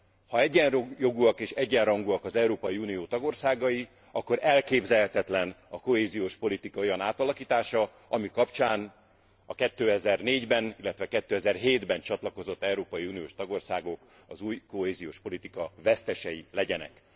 Ha egyenjogúak és egyenrangúak az Európai Unió tagországai, akkor elképzelhetetlen a kohéziós politika olyan átalakítása, ami kapcsán a 2004 ben, illetve 2007 ben csatlakozott európai uniós tagországok az új kohéziós politika vesztesei legyenek.